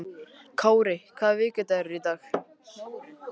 Kári, hvaða vikudagur er í dag?